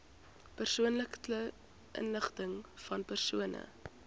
persoonlike inligtingvan persone